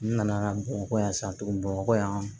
N nana bamakɔ yan sisan tuguni bamakɔ yan